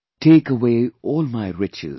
Take away all my riches